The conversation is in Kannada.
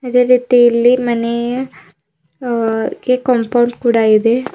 ಅದೆ ರೀತಿ ಇಲ್ಲಿ ಮನೇಯ ಅ ಕಾಂಪೌಂಡ್ ಕೂಡ ಇದೆ.